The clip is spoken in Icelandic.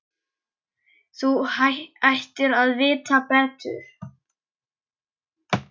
Þú ættir að vita betur!